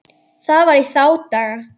Það var í þá daga!